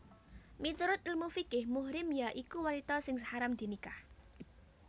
Miturut ilmu fiqih muhrim ya iku wanita sing haram dinikah